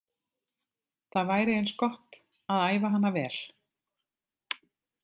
Það væri eins gott að æfa hana vel.